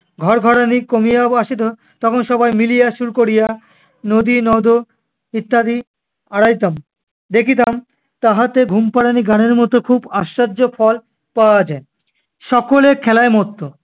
ঘড়ঘড়ানি কমিয়া আ~ আসিত, তখন সবাই মিলিয়া সুর করিয়া নদী নদ ইত্যাদি আওড়াইতাম দেখিতাম তাহাতে ঘুম পাড়ানি গানের মতো খুব আশ্চর্য ফল পাওয়া যায়। সকলে খেলায় মত্ত